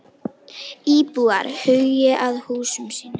Íbúar hugi að húsum sínum